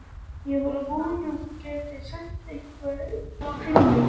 Ég var að vona að þú gætir sent einhvern til mín.